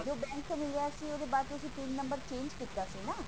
ਜੋ bank ਤੋਂ ਮਿਲਿਆ ਸੀ ਉਹਦੇ ਬਾਅਦ ਤੁਸੀਂ pin ਨੰਬਰ change ਕੀਤਾ ਸੀ ਨਾ